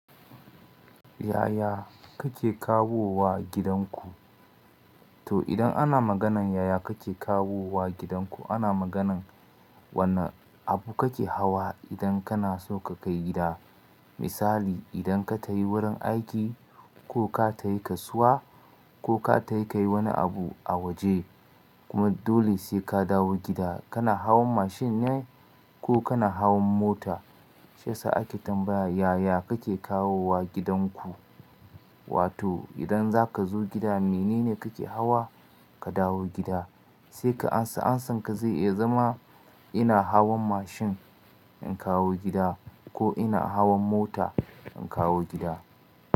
Yaya kake kawowa gidanku? To idan ana maganan yaya kake kawowa gidanku, ana maganan wane abu kake hawa idan kana so ka kai gida. Misali idan ka tafi wurin aiki ko ka tafi kasuwa ko ka tafi kayi wani abu a waje kuma dole sai ka dawo gida, kana hawan mashin ne ko kana hawan mota? Shi yasa ake tambaya yaya kake kawowa gidanku. Wato idan za ka zo gida menene kake hawa ka dawo gida? Sai ka amsa, amsanka zai iya zama ina hawan mashin in kawo gida ko ina hawan mota in kawo gida.